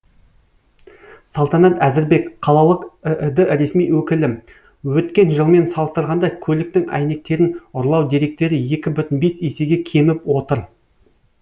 салтанат әзірбек қалалық іід ресми өкілі өткен жылмен салыстырғанда көліктің әйнектерін ұрлау деректері екі бүтін бес есеге кеміп отыр